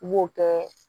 N b'o kɛ